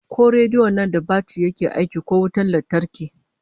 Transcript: Ko rediyon nan da batir yake aiki ko wutan lantarki?